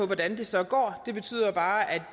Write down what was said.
valget så